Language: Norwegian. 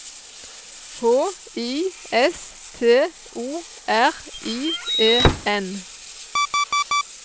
H I S T O R I E N